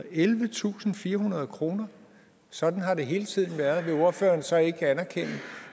ellevetusinde og firehundrede kroner sådan har det hele tiden været og vil ordføreren så ikke anerkende